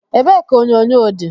Ebe ka onyonyo di?